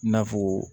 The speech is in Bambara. I n'a fɔ